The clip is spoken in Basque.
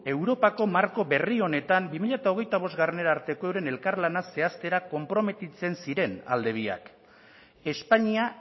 europako marko berri honetan bi mila hogeita bostgarrena arteko euren elkarlana zehaztera konprometitzen ziren alde biak espainia